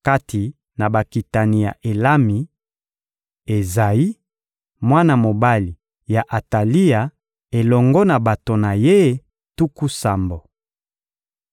Kati na bakitani ya Elami: Ezayi, mwana mobali ya Atalia elongo na bato na ye tuku sambo.